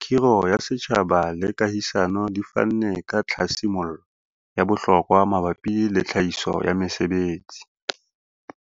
khiro ya setjhaba le kahisano di fanne ka tlhasi mollo ya bohlokwa mabapi le tlhahiso ya mesebetsi.